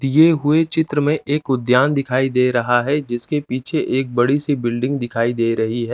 दिए हुए चित्र में एक उद्यान दिखाई दे रहा है जिसके पीछे एक बड़ी सी बिल्डिंग दिखाई दे रही है।